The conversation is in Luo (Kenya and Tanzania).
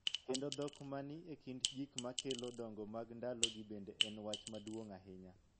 Kendo dhok ma ni e kind gik ma kelo dongo mag ndalogi bende en wach maduong� ahinya.